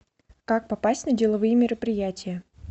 как попасть на деловые мероприятия